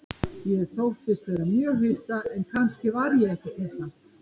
Ég þóttist vera mjög hissa, en kannski var ég ekkert hissa.